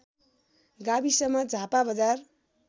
गाविसमा झापा बजार